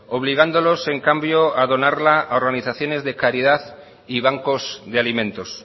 obligándolos en cambio a donarla a organizaciones de caridad y bancos de alimentos